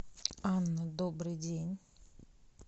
анна добрый день